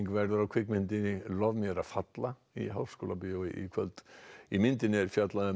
verður á kvikmyndinni lof mér að falla í Háskólabíói í kvöld í myndinni er fjallað um